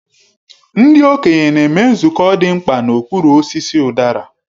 Ndị okenye na-eme nzukọ dị mkpa n'okpuru osisi udara.